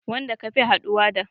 Wanda ka fi haɗuwa da